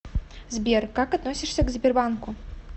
сбер как относишься к сбербанку